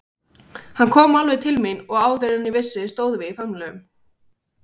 Hann kom alveg til mín og áður en ég vissi stóðum við í faðmlögum.